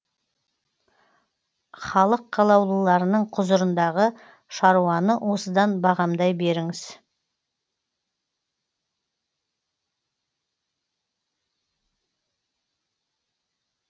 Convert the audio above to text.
халық қалаулыларының құзырындағы шаруаны осыдан бағамдай беріңіз